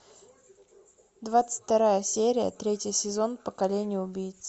двадцать вторая серия третий сезон поколение убийц